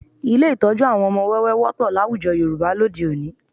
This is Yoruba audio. Ilé ìtọ́jú àwọn ọmọ wẹ́wẹ́ wọ́pọ̀ láwùjọ Yorùbá lóde òní